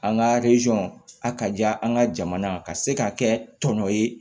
An ka a ka diya an ka jamana ka se ka kɛ tɔnɔ ye